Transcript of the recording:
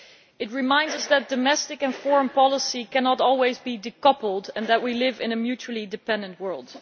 It reminds us that domestic and foreign policy cannot always be decoupled and that we live in a mutually dependent world.